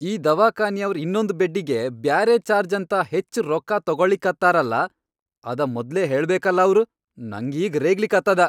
ಈ ದವಾಖಾನಿಯವ್ರ್ ಇನ್ನೊಂದ್ ಬೆಡ್ಡಿಗಿ ಬ್ಯಾರೆ ಚಾರ್ಜ್ ಅಂತ ಹೆಚ್ ರೊಕ್ಕಾ ತೊಗೊಳಿಕತ್ತಾರ ಅಲ್ಲಾ ಅದ ಮೊದ್ಲೇ ಹೇಳಬೇಕಲಾ ಅವ್ರ್, ನಂಗೀಗ್ ರೇಗ್ಲಿಕತ್ತದ.